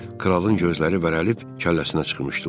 Kralın gözləri bərəlib kəlləsinə çıxmışdı.